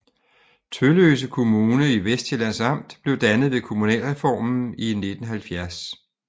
Tølløse Kommune i Vestsjællands Amt blev dannet ved kommunalreformen i 1970